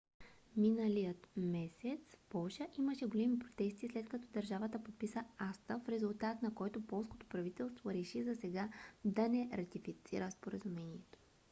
миналия месец в полша имаше големи протести след като държавата подписа acta в резултат на които полското правителство реши засега да не ратифицира споразумението